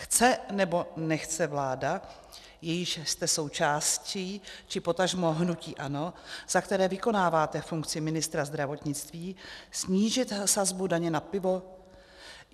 Chce nebo nechce vláda, jíž jste součástí, či potažmo hnutí ANO, za které vykonáváte funkci ministra zdravotnictví, snížit sazbu daně na pivo?